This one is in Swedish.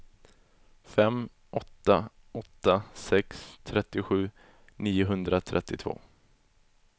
fem åtta åtta sex trettiosju niohundratrettiotvå